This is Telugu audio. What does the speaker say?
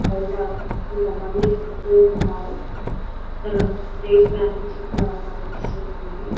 బయట కొంత మంది కొంటూ ఉన్నారు అక్కర లేస్ పాకెట్స్ కూడా కనిపిస్తూ ఉన్నాయి.